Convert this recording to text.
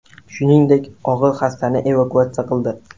Shuningdek, og‘ir xastani evakuatsiya qildi.